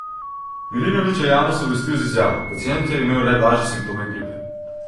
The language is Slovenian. Milinović je javnost obvestil z izjavo: 'Pacient je imel blažje simptome gripe.